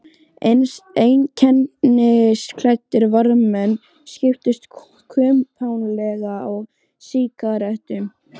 Einkennisklæddir varðmenn skiptust kumpánlega á sígarettum.